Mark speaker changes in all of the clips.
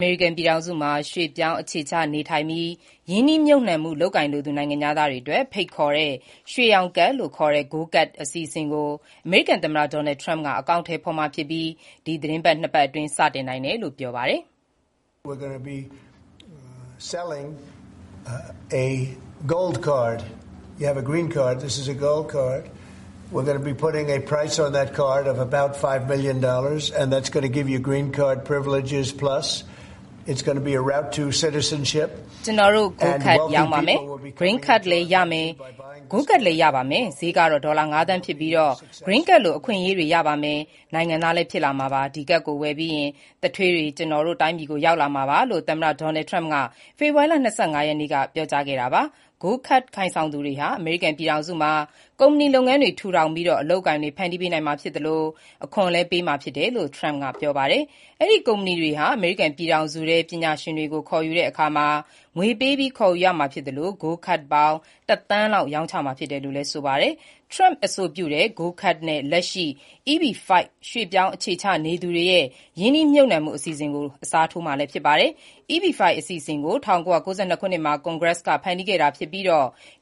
Speaker 1: အမေရိကန်ပြည်ထောင်စုမှာ ရွှေ့ပြောင်းအခြေချနေထိုင်ပြီး ရင်းနှီးမြှုပ်နှံ အလုပ်လုပ်ကိုင်လိုသူ နိုင်ငံခြားသားတွေအတွက် ဖိတ်ခေါ်တဲ့အစီအစဥ်တရပ်ကို အမေရိကန်သမ္မတ Donald Trump က အကောင်အထည်ဖေါ်မှာဖြစ်ပြီး သီတင်းပတ် ၂ ပတ်အတွင်း စတင်နိုင်တယ်လို့ ပြောပါတယ်။ “က
Speaker 2: ျနော်တို့ Gold Card ရောင်းပါ
Speaker 1: မယ်။ Green Card လည်း ရမယ်၊ Gold Card လည်း ရပါမယ်။ စျေးကတော့ ဒေါ်လာ ၅ သန်း ဖြစ်ပြီး Green Card လို အခွင့်အရေးတွေ ရပါမယ်။ နိုင်ငံသားလည်း ဖြစ်လာမှာပါ။ ဒီကဒ်ကိုဝယ်ပြီးရင် သူဌေးတွေ ကျနော်တို့ တိုင်းပြည်ကို ရောက်လာမှာပါ” လို့ သမ္မတ Donald Trump က ဖေဖေါ်ဝါရီ ၂၅ ရက် မနေ့က ပြောကြားခဲ့တာပါ။ Gold Card ကိုင်ဆောင်ထားသူတွေဟာ အမေရိကန်ပြည်ထောင်စုမှာ ကုမ္ပဏီလုပ်ငန်းတွေထူထောင်ပြီး အလုပ်အကိုင်တွေ ဖန်တီးပေးနိုင်မှာဖြစ်သလို အခွန်လည်းပေးမှာဖြစ်တယ်လို့ ထရမ့်က ပြောပါတယ်။ အဲဒီ ကုမ္ပဏီတွေဟာ အမေရိကန်ပြည်ထောင်စုထဲ ပညာရှင်တွေကို ခေါ်ယူတဲ့အခါမှာ ငွေပေးပြီး ခေါ်ယူရမှာဖြစ်သလို Gold Card ပေါင်း တသန်းလောက် ရောင်းချမှာဖြစ်တယ်လို့လည်း ဆိုပါတယ်။ ထရမ့်အဆိုပြုတဲ့ Gold Card နဲ့ လက်ရှိ EB-5 ရွှေ့ပြောင်းအခြေချသူတွေရဲ့ ရင်းနှီးမြှုပ်နှံမှုအစီအစဥ်ကို အစားထိုးမှာလည်း ဖြစ်ပါတယ်။ EB-5 အစီအစဥ်ကို ၁၉၉၂ ခုနှစ်မှာ ကွန်ဂရက်စ်ကဖန်တီးခဲ့တာဖြစ်ပြီး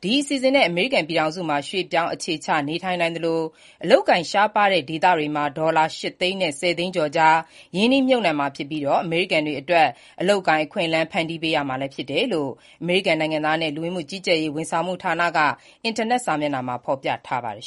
Speaker 1: ဒီအစီအစဥ်နဲ့ အမေရိကန် ပြည်ထောင်စုမှာ ရွှေ့ပြောင်းအခြေချနေထိုင်နိုင်သလို အလုပ်အကိုင်ရှားပါးတဲ့ဒေသတွေမှာ ဒေါ်လာ ၈ သိန်းနဲ့ (၁,၀၅၀,၀၀၀) ကြား ရင်းနှီးမြှုပ်နှံရမှာ ဖြစ်ပြီး အမေရိကန်တွေအတွက် အလုပ်အကိုင် အခွင့်အလမ်း ဖန်းတီးပေးရမှာဖြစ်တယ်လို့ USCIS အမေရိကန်နိုင်ငံသားနဲ့ လူဝင်မှုကြီးကြပ်ရေး ဝန်ဆောင်မှုဌာန အင်တာနက် စာမျက်နှာမှာ ဖေါ်ပြထားပါတယ်